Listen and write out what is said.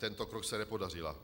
Tento krok se nepodařil.